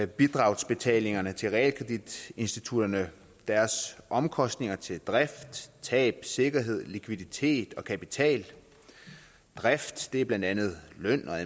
bidragsbetalingerne til realkreditinstitutterne deres omkostninger til drift tab sikkerhed likviditet og kapital drift er blandt andet løn og